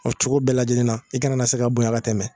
O cogo bɛɛ lajɛlen na i kana na se ka bonya ka tɛmɛ